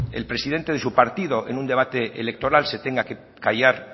el presidente de su partido en un debate electoral se tenga que callar